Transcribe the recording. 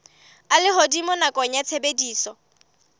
a lehodimo nakong ya tshebediso